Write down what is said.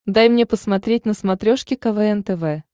дай мне посмотреть на смотрешке квн тв